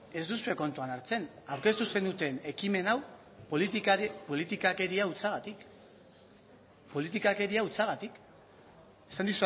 ez duzue kontutan hartzen aurkeztu zenuten ekimen hau politikakeria hutsagatik politikakeria hutsagatik esan